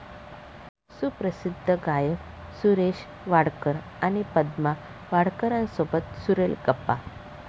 सुप्रसिद्ध गायक सुरेश वाडकर आणि पद्मा वाडकरांसोबत सुरेल गप्पा